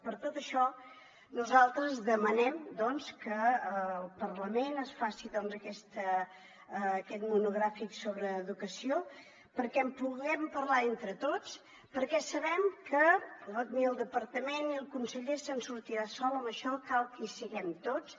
per tot això nosaltres demanem doncs que al parlament es faci aquest monogràfic sobre educació perquè en puguem parlar entre tots perquè sabem que ni el departament ni el conseller se’n sortirà sol en això cal que hi siguem tots